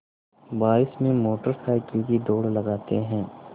बारिश में motor cycle की दौड़ लगाते हैं